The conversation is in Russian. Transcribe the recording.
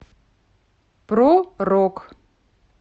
про рок